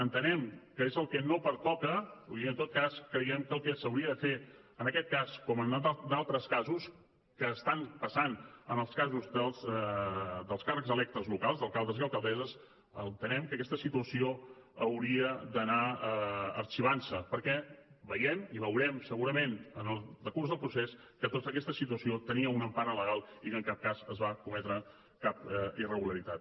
entenem que és el que no pertoca i en tot cas creiem que el que s’hauria de fer en aquest cas com en d’altres casos que estan passant en els casos dels càrrecs electes locals d’alcaldes i alcaldesses entenem que aquesta situació hauria d’anar arxivant se perquè veiem i veurem segurament en el decurs del procés que tota aquesta situació tenia una empara legal i que en cap cas es va cometre cap irregularitat